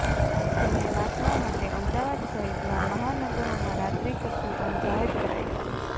જેને નાથવા માટે અમદાવાદ સહિતના મહાનગરોમાં રાત્રી કર્ફયુ પણ જાહેર કરાયું છે